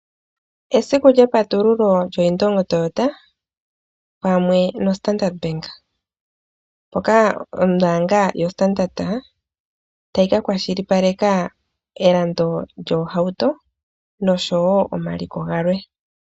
Esiku lyepatululo lyo Indongo Toyota pamwe no Standard Bank moka ombaanga yo Standard tayi ka kwashilipaleka elando lyoohauto noshowo omaliko galwe.